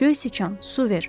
Göy siçan, su ver!